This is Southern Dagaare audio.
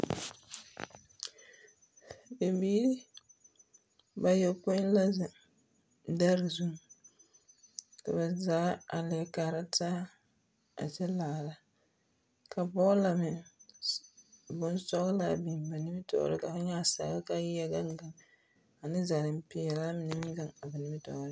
Bibiiri, bayɔpõĩ la zeŋ dɛrwe zuŋ, ka ba zaa a leɛ kaara taa, a kyɛ laara. Ka bɔɔla meŋ, s, bonsɔglaa biŋ ba nimitɔɔre ka fo nyɛ a sagre kaa yi yɛ gaŋ gaŋ ane zareŋ-peɛlaa mine meŋ gaŋ a ba nimitɔɔreŋ.